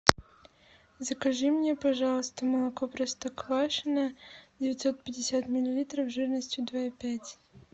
закажи мне пожалуйста молоко простоквашино девятьсот пятьдесят миллилитров жирностью два и пять